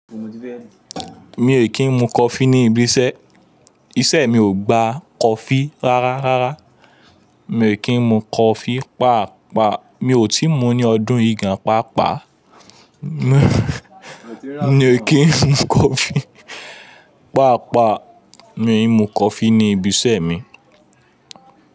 Mi ò kí ń mu coffee ní ibi iṣẹ́, iṣẹ́ mi ò gba coffee rárá. Rárá, mi ò kí ń mu coffee páàpáà, mi ò tíì mu ní ọdún igba pàápàá. Mi ò kí ń mu coffee páàpáà, mi ń mu coffee ní ibi iṣẹ́ mi.